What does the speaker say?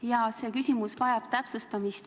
Jaa, see küsimus vajab täpsustamist.